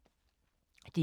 DR K